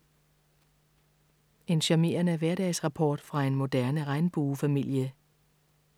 En charmerende hverdagsrapport fra en moderne regnbuefamilie.